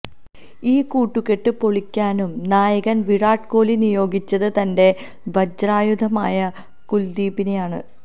ഈ കൂട്ടുക്കെട്ട് പൊളിക്കാനും നായകന് വിരാട് കോലി നിയോഗിച്ചത് തന്റെ വജ്രായുധമായ കുല്ദീപിനെയാണ്